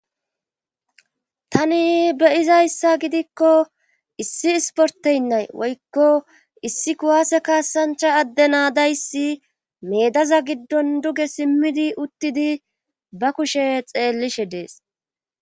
tani beyizayssa gidikko issi isporteynnay woykko issi kuwaase kaasancha adde naadayssi medaza giddon duge simmidi uttidi ba kushe xeellishe dees